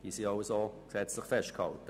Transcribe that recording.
Sie sind gesetzlich festgehalten: